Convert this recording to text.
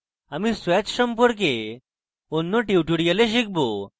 আমরা swatch সম্পর্কে অন্য tutorial শিখব